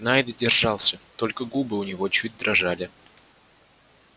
найд держался только губы у него чуть дрожали